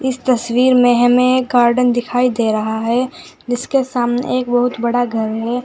इस तस्वीर में हमें गार्डन दिखाई दे रहा है जिसके सामने एक बहुत बड़ा घर है।